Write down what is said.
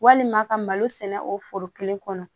Walima ka malo sɛnɛ o foro kelen kɔnɔ